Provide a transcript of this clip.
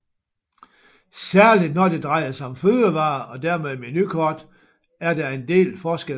Særlig når det drejer sig om fødevarer og dermed menukort er der en del forskelle